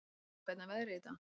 Stella, hvernig er veðrið í dag?